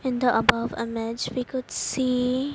in the above image we could see--